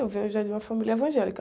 Eu venho já de uma família evangélica.